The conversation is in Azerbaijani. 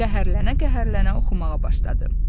Qəhərlənə-qəhərlənə oxumağa başladı.